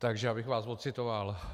Takže abych vás ocitoval.